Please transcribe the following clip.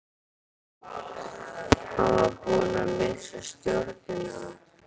Hann var búinn að missa stjórnina.